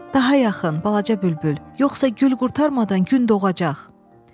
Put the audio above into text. Daha yaxın, balaca bülbül, yoxsa gül qurtarmadan gün doğacaq?